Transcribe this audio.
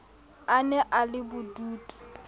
a ne a le bodutu